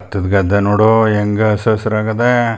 ಬತ್ತದ್ ಗದ್ದೆ ನೋಡೋ ಹೆಂಗ್ ಹಸ್ರ್ ಹಸ್ರ್ ಆಗದೆ.